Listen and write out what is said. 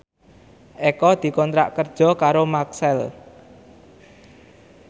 Eko dikontrak kerja karo Maxell